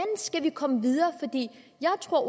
skal vi komme videre jeg tror at